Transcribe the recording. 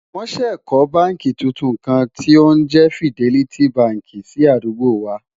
wón sé kò bánkì túntùn kàn tí òun jé fideliti bánkì sí àdúgbò wà